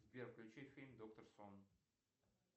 сбер включи фильм доктор сон